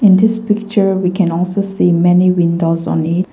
In this picture we can also see many windows on it.